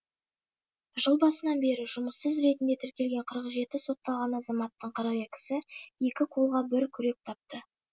жыл басынан бері жұмыссыз ретінде тіркелген қырық жеті сотталған азаматтың қырық екісі екі қолға бір күрек тапты